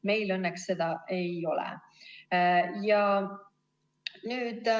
Meil õnneks seda ei ole.